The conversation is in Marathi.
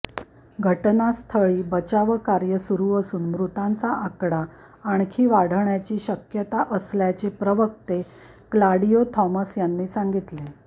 घटनास्थळी बचावकार्य सुरु असून मृतांचा आकडा आणखी वाढण्याची शक्यता असल्याचे प्रवक्ते क्लाडिओ थॉमस यांनी सांगितले